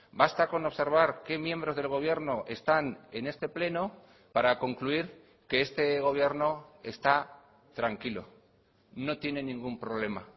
basta con observar qué miembros del gobierno están en este pleno para concluir que este gobierno está tranquilo no tiene ningún problema